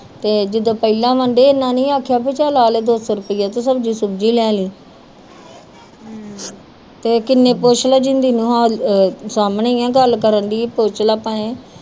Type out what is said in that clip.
ਤੇ ਜਿੱਦਣ ਪਹਿਲਾ ਵੰਡੇ ਇਹਨਾਂ ਨਹੀਂ ਆਖਿਆ ਵੀ ਆ ਤੇ ਦੋ ਸੋ ਰਪਈਆਂ ਤੇ ਸਬਜ਼ੀ ਸੁਬਜੀ ਲੈਲੀ ਤੇ ਕੀਨੇ ਪੂਛਲਾ ਜਿੰਦੀ ਨੂੰ ਸਾਮਣੇ ਆ ਗੱਲ ਕਰਨ ਦੀ ਪੁਛਲਾ ਪਾਵੇ